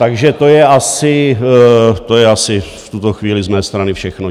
Takže to je asi v tuto chvíli z mé strany všechno.